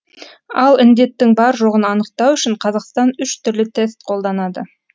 ал індеттің бар жоғын анықтау үшін қазақстан үш түрлі тест қолданады